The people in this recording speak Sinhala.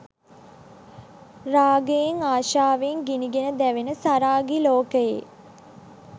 රාගයෙන්, ආශාවෙන් ගිනිගෙන දැවෙන සරාගී ලෝකයේ